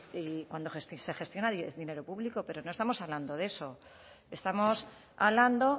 y cuando se gestiona dinero público pero no estamos hablando de eso estamos hablando